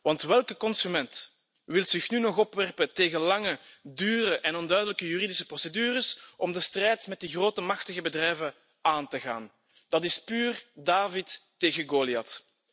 Want welke consument wil zich nu nog opwerpen tegen lange, dure en onduidelijke juridische procedures om de strijd met die grote, machtige bedrijven aan te gaan? Dat is puur David tegen Goliath.